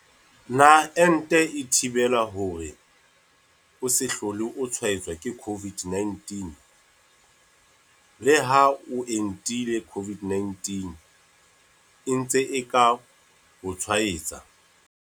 Potso- Na ente e thibela hore o se hlole o tshwaetswa ke COVID-19? Leha o entile COVID-19 e ntse e ka o tshwaetsa.